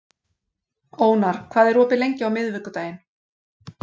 Ónar, hvað er opið lengi á miðvikudaginn?